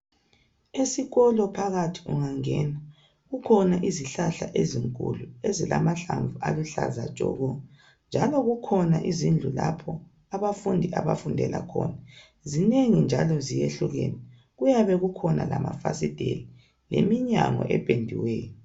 Esikolo phakathi ungangena kukhona izihlahla ezinkulu ezilamahlamvu aluhlaza tshoko njalo kukhona izindlu lapho abafundi abafundela khona zinengi njalo zehlukene kuyabe kukhona lamafasitela leminyango ependiweyo.